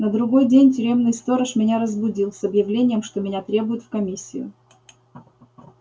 на другой день тюремный сторож меня разбудил с объявлением что меня требуют в комиссию